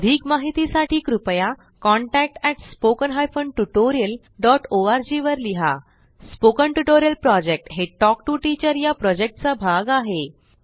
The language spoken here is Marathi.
अधिक माहितीसाठी कृपया contact at spoken hyphen tutorial dot ORG वर लिहा स्पोकन ट्युटोरियल प्रॉजेक्ट हे टॉक टू टीचर या प्रॉजेक्टचा भाग आहे